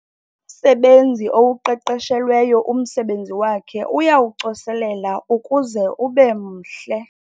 Umsebenzi owuqeqeshelweyo umsebenzi wakhe uyawucoselela ukuze ube mhle.